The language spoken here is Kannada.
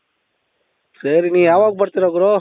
ಸರಿ ನೀ ಯಾವಾಗ ಬರ್ತೀರಾ ಗುರು ?